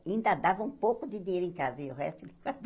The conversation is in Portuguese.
Ainda dava um pouco de dinheiro em casa e o resto ele